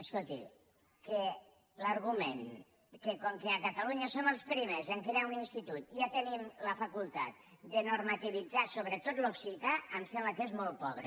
escolti l’argument que com que a catalunya som els primers a crear un institut ja tenim la facultat de normativitzar sobre tot l’occità em sembla que és molt pobre